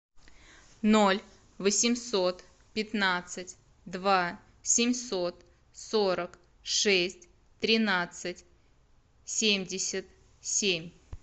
ноль восемьсот пятнадцать два семьсот сорок шесть тринадцать семьдесят семь